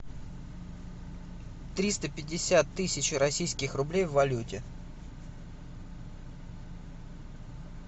триста пятьдесят тысяч российских рублей в валюте